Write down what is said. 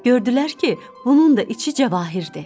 Gördülər ki, bunun da içi cəvahirdir.